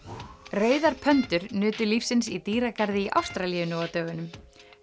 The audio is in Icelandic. rauðar nutu lífsins í dýragarði í Ástralíu nú á dögunum